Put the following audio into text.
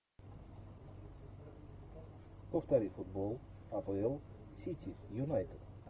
повтори футбол апл сити юнайтед